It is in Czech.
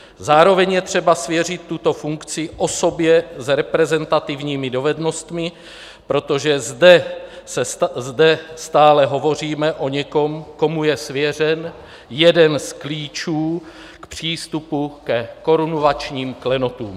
Zároveň je třeba svěřit tuto funkci osobě s reprezentativními dovednostmi, protože zde stále hovoříme o někom, komu je svěřen jeden z klíčů k přístupu ke korunovačním klenotům.